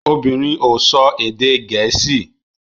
Obìnrin ò sọ èdè Gẹ̀ẹ́sì